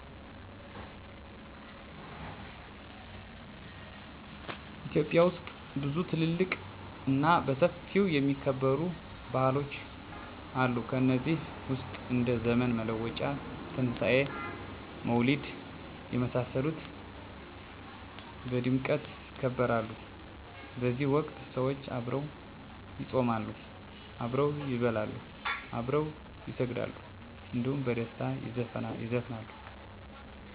ኢትዮጵያ ውስጥ ብዙ ትልልቅ እና በሰፊው የሚከበሩ ባህሎች አሉ ከነዚህ ውስጥ እንደ ዘመን መለወጫ; ትንሣኤ; መውሊድ የመሳሰሉት በድምቀት ይከበራሉ በዚህ ወቅት ሰዎች አብረው ይጾማሉ፣ አብረው ይበላሉ፣ አብረው ይሰግዳሉ እንዲሁም በደስታ ይዘፍናሉ። በችግር ወቅት ሰዉ ሲታመም ወይም ሲሞት(በሀዘን) ጊዜ በህበረተሰቡ በመዋጮ በማዋጣት መጠየቅ እና ማስተዛዘን ሁኔታ ይታያል። እነዚህ ሂደቶች የቆዩ እና ቀጣይነት ያላቸው የህብረተሰቡ እሴቶችን እና ታሪኮችን ናቸው። ስለዚህ እነዚህ ለማህበራዊ ቀጣይነት አስፈላጊ ናቸው